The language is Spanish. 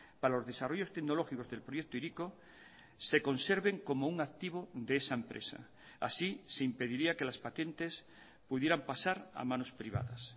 para los desarrollos tecnológicos del proyecto hiriko se conserven como un activo de esa empresa así se impediría que las patentes pudieran pasar a manos privadas